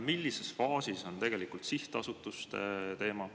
Millises faasis on tegelikult sihtasutuste teema?